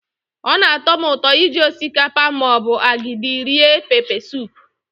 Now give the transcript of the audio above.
Ọ na-atọ m ụtọ iji osikapa ma ọ bụ agidi rie pepesụpụ.